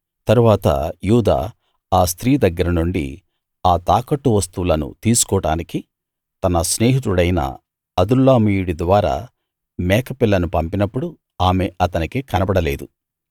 తరవాత యూదా ఆ స్త్రీ దగ్గర నుండి ఆ తాకట్టు వస్తువులను తీసుకోడానికి తన స్నేహితుడయిన అదుల్లామీయుడి ద్వారా మేకపిల్లను పంపినప్పుడు ఆమె అతనికి కనబడలేదు